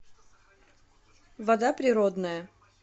вода природная